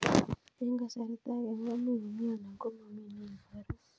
Eng' kasarta ag'e ko much ko mii anan komamii ne ibaru